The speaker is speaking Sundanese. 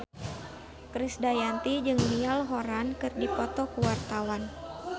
Krisdayanti jeung Niall Horran keur dipoto ku wartawan